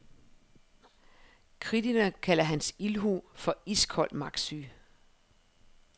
Kritikerne kalder hans ildhu for iskold magtsyge.